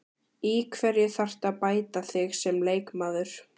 Í hverju þarftu að bæta þig sem leikmaður?